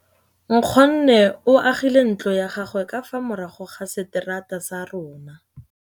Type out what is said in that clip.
Nkgonne o agile ntlo ya gagwe ka fa morago ga seterata sa rona.